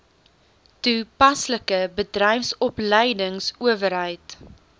toe paslike bedryfsopleidingsowerheid